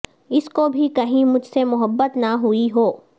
اس کو بھی کہیں مجھ سے محبت نہ ہوئی ہو